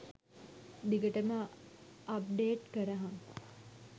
දිගටම අප්ඩේට් කරහං .